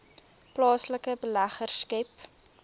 plaaslike beleggers skep